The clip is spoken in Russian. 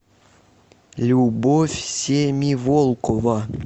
любовь семиволкова